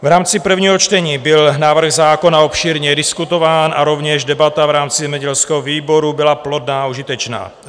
V rámci prvního čtení byl návrh zákona obšírně diskutován a rovněž debata v rámci zemědělského výboru byla plodná a užitečná.